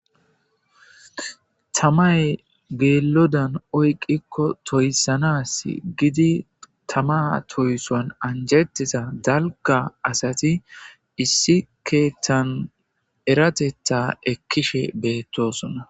tamay geelodan oyqikko toyssanas gidi tama toysoan anjetiza dalga asati issi keethan erateta ekkishe beettosona